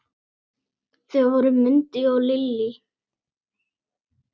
Þau voru Mundi og Lillý.